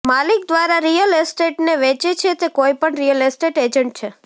માલિક દ્વારા રિયલ એસ્ટેટને વેચે છે તે કોઈપણ રિયલ એસ્ટેટ એજન્ટ છે